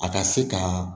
A ka se ka